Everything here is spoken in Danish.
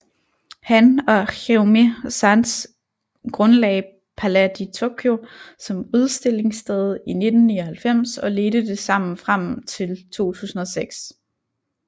Han og Jérôme Sans grundlagde Palais de Tokyo som udstillingssted i 1999 og ledte det sammen frem til 2006